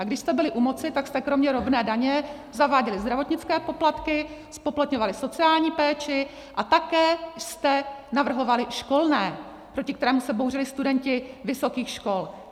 A když jste byli u moci, tak jste kromě rovné daně zaváděli zdravotnické poplatky, zpoplatňovali sociální péči a také jste navrhovali školné, proti kterému se bouřili studenti vysokých škol.